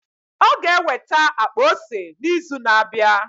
Ọ ga-eweta akpa ose n'izu na-abịa.